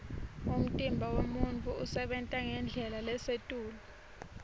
umtimba wemuntfu usebenta ngendlela lesetulu